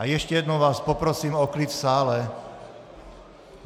A ještě jednou vás poprosím o klid v sále!